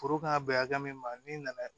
Foro kan ka bɛn hakɛ min ma n'i nana